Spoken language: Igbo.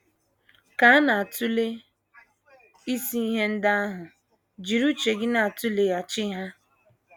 Ka a na - atụle isi ihe ndị ahụ, jiri uche gị na - atụleghachi ha.